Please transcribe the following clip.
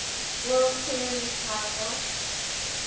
world series title